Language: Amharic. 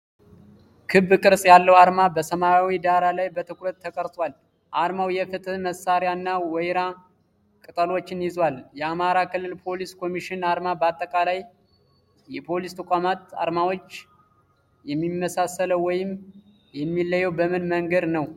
ክብ ቅርጽ ያለው ዓርማ በሰማያዊ ዳራ ላይ በትኩረት ተቀርጿል። ዓርማው የፍትሕ መሣሪያ እና ወይራ ቅጠሎችን ይዟል ።የአማራ ክልል ፖሊስ ኮሚሽን ዓርማ በአጠቃላይ የፖሊስ ተቋማት ዓርማዎች የሚመሳሰለው ወይም የሚለየው በምን መንገድ ነው?